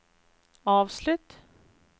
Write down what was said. avslutt